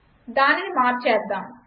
దానిని మార్చేద్దాం